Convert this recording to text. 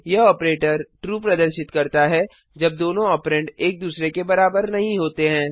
यह operator true प्रदर्शित करता है जब दोनों ऑपरेंड एक दूसरे के बराबर नहीं होते हैं